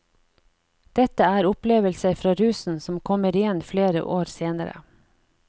Dette er opplevelser fra rusen som kommer igjen flere år senere.